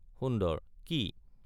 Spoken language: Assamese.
সুন্দৰ— কি?